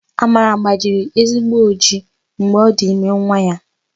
Amara gbajiri ezigbo ojii mgbe ọ dị ime nwa ya.